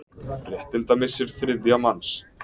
Réttindamissir þriðja manns.